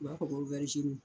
U b'a fɔ ko